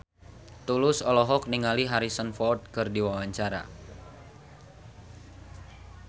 Tulus olohok ningali Harrison Ford keur diwawancara